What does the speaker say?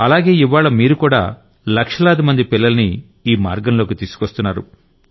అలాగే ఇవ్వాళ్ల మీరుకూడా లక్షలాది మంది పిల్లల్ని ఈ మార్గంలోకి తీసుకొస్తున్నారు